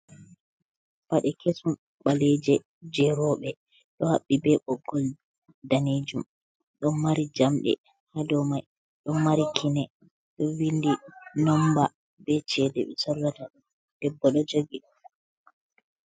Paɗe kesum baleje jerobe do habbi be boggol danijum don mari jamde ha do mai don mari kine do vindi nomba be cede be sorrata debbo ɗo jogi.